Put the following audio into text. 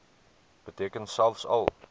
beteken selfs al